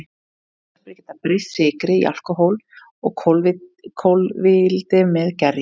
Gersveppir geta breytt sykri í alkóhól og koltvíildi með gerjun.